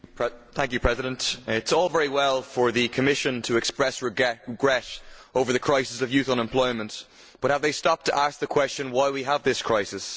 Mr President, it is all very well for the Commission to express regret over the crisis of youth unemployment, but have they stopped to ask the question why do we have this crisis?